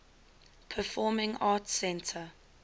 performing arts center